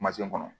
kɔnɔ